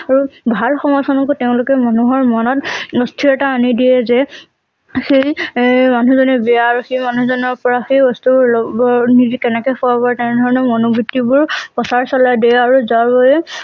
আৰু ভাল সমাজ খনকো তেওঁলোকে মানুহৰ মনত অস্থিৰতা আনি দিয়ে যে সেই এই মানুহ জনে বেয়া আৰু সেই মানুহ জনৰ পৰা সেই বস্তুবোৰ লব নিজেই কেনেকৈ তেনেধৰণৰ মনোবৃত্তিবোৰ প্ৰচাৰ চলাই দিয়ে আৰু যাৰ বাবে